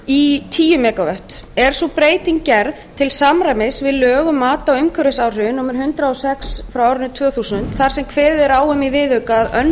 í tíu mega vöttum er sú breyting gerð til samræmis við lög um mat á umhverfisáhrifum númer hundrað og sex tvö þúsund þar sem kveðið er á um í viðauka að